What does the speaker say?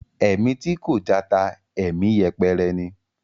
Ẹ̀mí tí kò jata, ẹ̀mí yẹpẹrẹ ni.